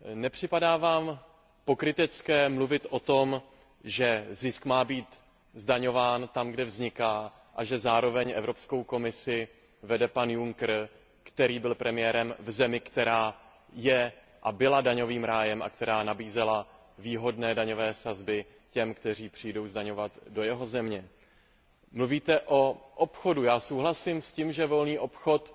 Nepřipadá vám pokrytecké mluvit o tom, že zisk má být zdaňován tam, kde vzniká, a že zároveň Evropskou komisi vede pan Juncker, který byl premiérem v zemi, která je a byla daňovým rájem a která nabízela výhodné daňové sazby těm, kteří přijdou zdaňovat do jeho země? Mluvíte o obchodu, já souhlasím s tím, že volný obchod